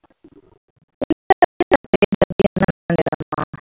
ம்மா